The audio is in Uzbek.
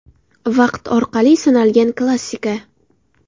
Vaqt orqali sinalgan klassika.